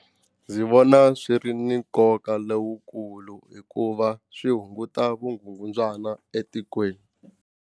Ndzi vona swi ri na nkoka lowukulu hikuva swi hunguta vugungundzwana etikweni.